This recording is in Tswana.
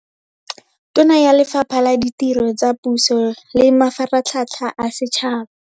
Tona ya Lefapha la Ditiro tsa Puso le Mafaratlhatlha a Setšhaba.